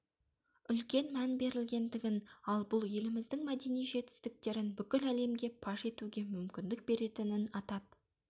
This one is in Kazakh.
үлкен мән берілгендігін ал бұл еліміздің мәдени жетістіктерін бүкіл әлемге паш етуге мүмкіндік беретінін атап